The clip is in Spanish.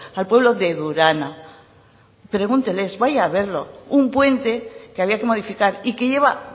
al pueblo de durana pregúnteles vaya a verlo un puente que había que modificar y que lleva